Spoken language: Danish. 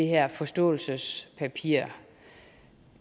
her forståelsespapir